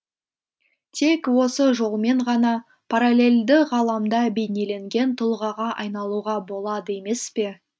тек осы жолмен ғана параллельді ғаламда бейнеленген тұлғаға айналуға болады емес пе